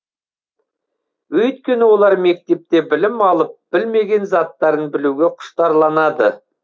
өйткені олар мектепте білім алып білмеген заттарын білуге құштарланады